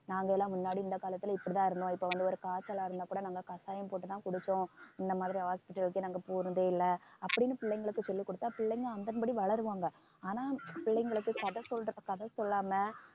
நாங்க எல்லாம் முன்னாடி இந்த காலத்துல இப்படித்தான் இருந்தோம் இப்ப வந்து ஒரு காய்ச்சலா இருந்தா கூட நாங்க கசாயம் போட்டுதான் குடிச்சோம் இந்த மாதிரி hospital க்கு நாங்க போறதே இல்லை அப்படின்னு பிள்ளைங்களுக்கு சொல்லிக் கொடுத்தா பிள்ளைங்க அதன்படி வளருவாங்க ஆனா பிள்ளைங்களுக்கு கதை சொல்ற கதை சொல்லாம